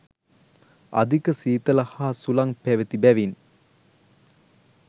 අධික සීතල හා සුළං පැවති බැවින්